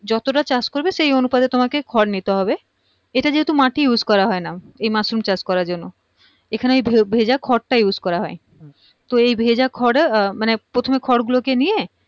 যতটা চাষ করবে সেই অনুপাতে তোমাকে খড় নিতে হবে এইটা যেহেতু মাটি use করা হয়না এই মাশরুম চাষ করার জন্য এখানে এই ভে ভেজা খড় টা use করা হয় তো এই ভেজা খড় মানে প্রথম এ খড় গুলোকে নিয়ে